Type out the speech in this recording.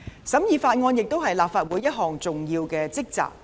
審議法案亦是立法會的重要職責。